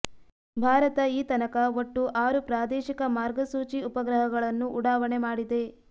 ಭಾರತ ಈ ತನಕ ಒಟ್ಟು ಆರು ಪ್ರಾದೇಶಿಕ ಮಾರ್ಗಸೂಚಿ ಉಪಗ್ರಹಗಳನ್ನು ಉಡಾವಣೆ ಮಾಡಿದೆ